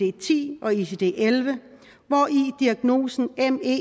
icd10 og icd11 hvori diagnosen